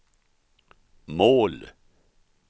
mål